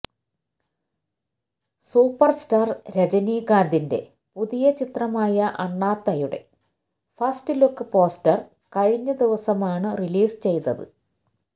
superstar രജനികാന്തിന്റെ പുതിയ ചിത്രമായ അണ്ണാത്തയുടെ ഫസ്റ്റ്ലുക്ക് പോസ്റ്റര് കഴിഞ്ഞ ദിവസമാണ് റിലീസ് ചെയ്തത്